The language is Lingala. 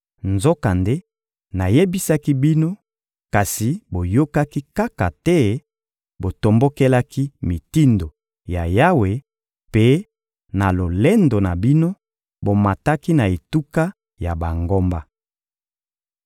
Nzokande nayebisaki bino, kasi boyokaki kaka te; botombokelaki mitindo ya Yawe; mpe, na lolendo na bino, bomataki na etuka ya bangomba.